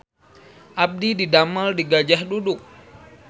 Abdi didamel di Gajah Duduk